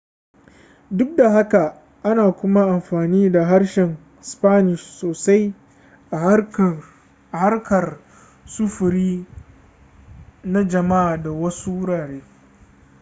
duk da haka ana kuma amfani da harshen spanish sosai a harkar sufuri na jama'a da wasu wurare